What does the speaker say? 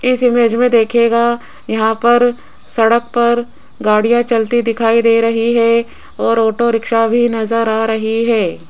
इस इमेज में दिखेगा यहां पर सड़क पर गाड़ियां चलती दिखाई दे रही है और ऑटो रिक्शा भी नजर आ रही है।